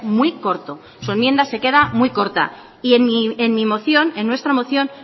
muy corto su enmienda se queda muy corta y en mi moción en nuestra moción